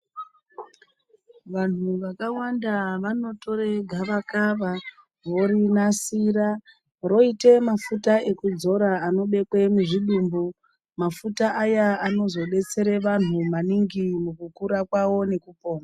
Vanhu vakawanda vanotora gavakava vorinasira roita mafuta ekudzora anobekwa muzvidumbu. Mafuta ayaa anozodetsera vantu maningi mukukura kwawo nekupona.